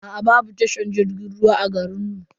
Aa babu tashar jirgin ruwa a garin mu.